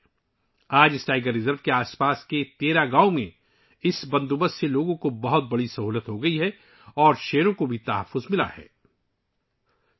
آج اس نظام نے ، اس ٹائیگر ریزرو کے آس پاس کے 13 گاؤوں میں لوگوں کو کافی سہولت فراہم کی ہے اور شیروں کو بھی تحفظ حاصل ہوا ہے